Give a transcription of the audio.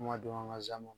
Kuma dɔn ka